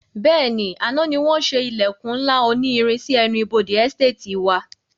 Bẹ́ẹ̀ni, àná ni wọn ṣe ilẹkun ńlá òní irin sì ẹnu ibodè Ẹsteetì wa.